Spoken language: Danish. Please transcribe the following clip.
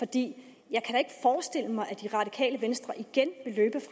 det radikale venstre igen